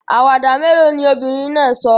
Àwàdà mélòó ni obìnrin náà sọ?